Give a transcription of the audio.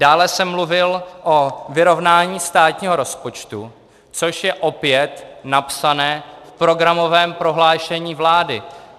Dále jsem mluvil o vyrovnání státního rozpočtu, což je opět napsáno v programovém prohlášení vlády.